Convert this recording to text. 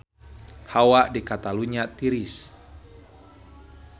Hawa di Catalunya tiris